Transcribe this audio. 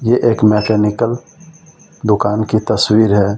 ये एक मैकेनिकल दुकान की तस्वीर है।